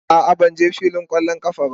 A'a, ban je filin kwallon kafa ba.